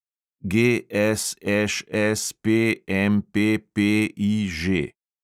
GSŠSPMPPIŽ